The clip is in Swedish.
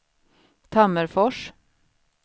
Tammerfors